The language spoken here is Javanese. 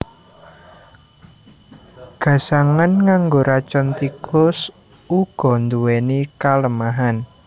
Gasangan nganggo racun tikus uga nduwèni kalemahan